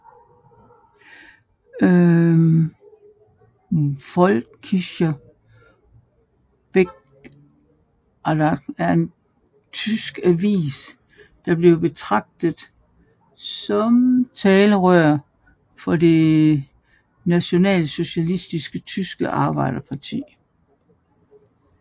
Völkischer Beobachter var en tysk avis der blev betragtet som talerør for Det nationalsocialistiske tyske Arbejderparti